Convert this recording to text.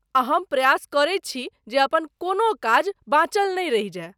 आ हम प्रयास करै छी जे अपन कोनो काज बाँचल नहि रहि जाय।